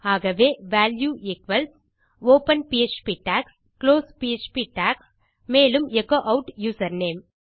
ஆகவே value equals open PHP tags close PHP tags மேலும் echo add username